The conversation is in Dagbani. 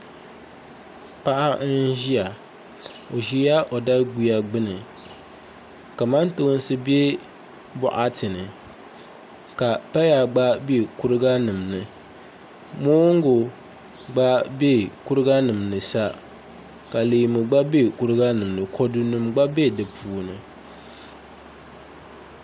Paɣa n-ʒiya o ʒila o daɡuya ɡbuni kamantoonsi be bɔɣati ni ka paya ɡba be kuriɡanima ni moonɡu ɡba be kuriɡanima ni sa ka leemunima ɡba be kuriɡanima ni kɔdunima ɡba be di puuni